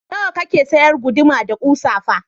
Nawa kake sayar guduma da kusa fa?